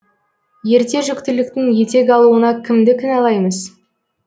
ерте жүктіліктің етек алуына кімді кінәлаймыз